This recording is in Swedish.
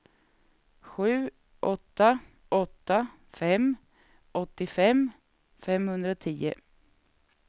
sju åtta åtta fem åttiofem femhundratio